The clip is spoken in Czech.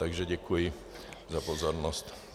Takže děkuji za pozornost.